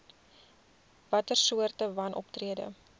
watter soorte wanoptrede